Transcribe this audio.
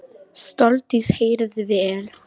Sóldís heyrði vel.